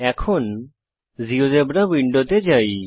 এখন জীয়োজেব্রা উইন্ডোতে যাই